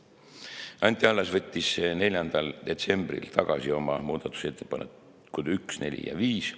Anti Allas võttis 4. detsembril tagasi oma muudatusettepanekud nr 1, 4 ja 5.